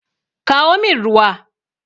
Kawo min ruwa!